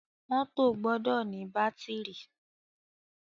Mọ́tọ̀ gbọdọ ní bátìrì.